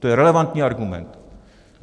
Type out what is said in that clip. To je relevantní argument.